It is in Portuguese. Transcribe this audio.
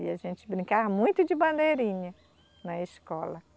E a gente brincava muito de bandeirinha na escola.